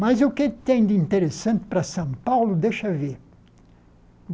Mas o que tem de interessante para São Paulo, deixa ver.